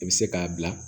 I bɛ se k'a bila